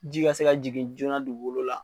Ji ka se ka jigin joona dugukolo la